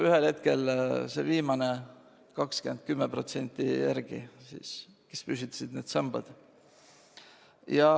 ühel hetkel olid viimased 10–20% elanikest järele jäänud, kes püstitasidki need sambad.